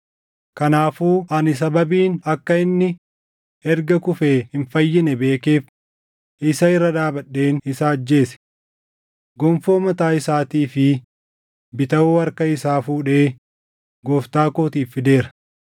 “Kanaafuu ani sababiin akka inni erga kufee hin fayyine beekeef isa irra dhaabadheen isa ajjeese. Gonfoo mataa isaatii fi bitawoo harka isaa fuudhee gooftaa kootiif fideera.”